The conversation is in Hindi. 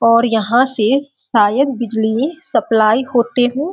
और यहाँ से शायद बिजली सप्लाइ होतें हों।